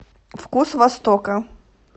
вкус востока